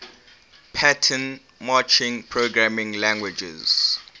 pattern matching programming languages